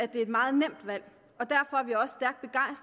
det er et meget nemt valg